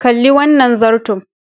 Kalli wannan zarton.